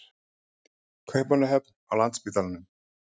Kaupmannahöfn, á Landspítalanum.